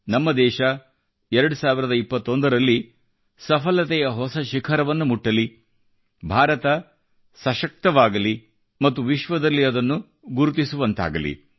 ನಮ್ಮ ದೇಶ 2021 ರಲ್ಲಿ ಸಫಲತೆಯ ಹೊಸ ಶಿಖರವನ್ನು ಮುಟ್ಟಲಿ ಭಾರತ ಸಶಕ್ತವಾಗಲಿ ಮತ್ತು ವಿಶ್ವದಲ್ಲಿ ಅದನ್ನು ಗುರುತಿಸುವಂತಾಗಲಿ